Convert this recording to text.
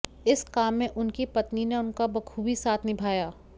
इस काम में उनकी पत्नी ने उनका बखूबी साथ निभाया